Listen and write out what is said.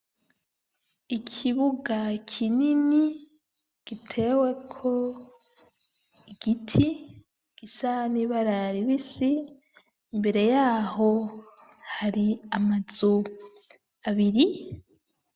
Ikibuga kinini gitewe ko giti gisa n'ibara ribisi mbere yaho hari amazu abiri.